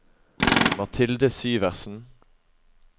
Mathilde Syversen